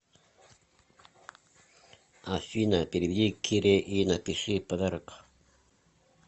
афина переведи кире и напиши подарок